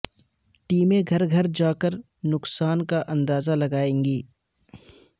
ٹیمیں گھر گھر جا کر نقصان کا اندازہ لگائیں گی